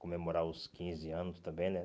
Comemorar os quinze anos também, né?